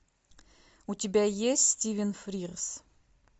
у тебя есть стивен фрирз